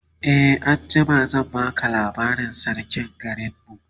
e anjima zan baka labarin sarkin garinmu